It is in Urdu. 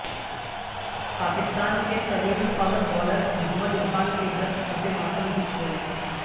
پاکستان کے طویل القامت بائولر محمد عرفان کے گھرصف ماتم بچ گئی